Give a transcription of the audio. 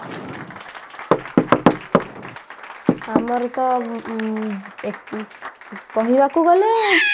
ଆମର ତ ଏ ଉଁ କହିବାକୁ ଗଲେ